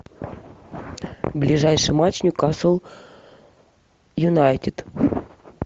ближайший матч ньюкасл юнайтед